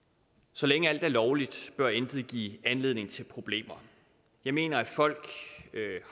så længe alt er lovligt bør intet give anledning til problemer jeg mener at folk